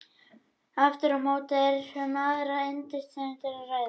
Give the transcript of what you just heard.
Aftur á móti er um aðra undirtegund að ræða.